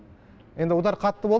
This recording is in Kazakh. енді удар қатты болды